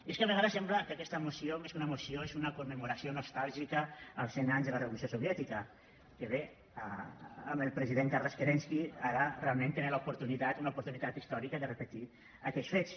i és que a vegades sembla que aquesta moció més que una moció és una commemoració nostàlgica al cent anys de la revolució soviètica que bé amb el president carles kerenski ara realment tenen l’oportunitat una oportunitat històrica de repetir aquells fets